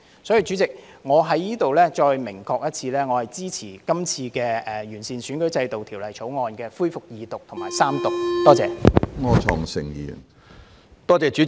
所以，主席，我在此再明確表示，我支持今次《條例草案》恢復二讀辯論和三讀。